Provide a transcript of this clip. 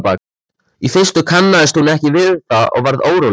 Í fyrstu kannaðist hún ekki við það og varð óróleg.